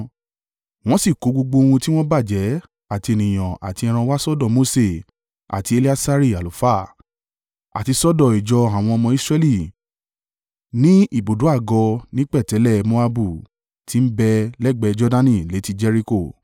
Wọ́n sì kó gbogbo ohun tí wọ́n bàjẹ́ àti ènìyàn àti ẹran wá sọ́dọ̀ Mose àti Eleasari àlùfáà, àti sọ́dọ̀ ìjọ àwọn ọmọ Israẹli ní ibùdó àgọ́ ní pẹ̀tẹ́lẹ̀ Moabu tí ń bẹ lẹ́gbẹ̀ẹ́ Jordani létí Jeriko.